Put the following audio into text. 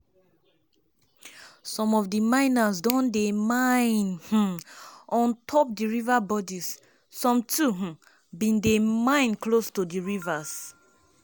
some of di miners don dey mine um on um on top di water bodies - some too um bin dey mine close to di rivers.